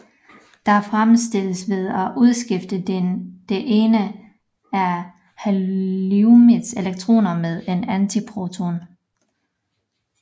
Dette fremstilles ved at udskifte det ene af heliummets elektroner med en antiproton